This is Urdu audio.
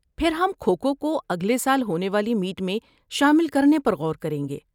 پھر ہم کھو کھو کو اگلے سال ہونے والی میٹ میں شامل کرنے پر غور کریں گے۔